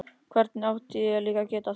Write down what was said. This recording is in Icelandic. Hvernig ætti ég líka að geta það?